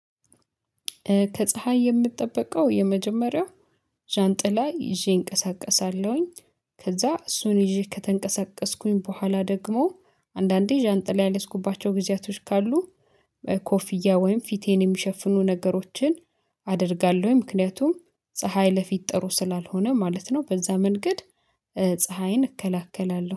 ከፀሀይ የምጠበቀው የመጀመሪያው ዣንጥላ ይዤ እንቀሳቀሳለሁኝ ከዛ እሱን ይዤ ከተንቀሳቀስኩኝ በኋላ ደግሞ አንዳንዴ ዣንጥል ያለስኩባቸው ጊዜያቶች ካሉ ኮፊያ ወይም ፊቴን የሚሸፍኑ ነገሮችን አደርጋለሁ ምክንያቱም ፀሀይ ለፊት ጥሩ ስላልሆነ ማለት ነው። በዛ መንገድ ፀሀይን እከለክላለሁ